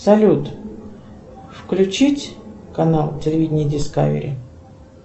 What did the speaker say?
салют включить канал телевидения дискавери